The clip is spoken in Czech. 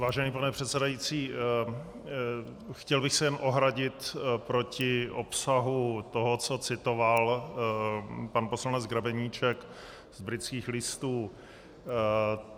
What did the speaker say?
Vážený pane předsedající, chtěl bych se jen ohradit proti obsahu toho, co citoval pan poslanec Grebeníček z Britských listů.